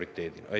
Aitäh!